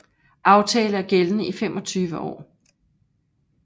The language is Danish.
Aftale er gældende i 25 år